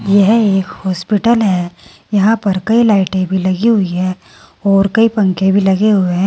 यह एक हॉस्पिटल है यहां पर कई लाइटें भी लगी हुई है और कई पंखे भी लगे हुए हैं।